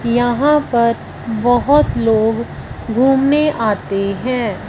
यहां पर बहुत लोग घूमने आते हैं।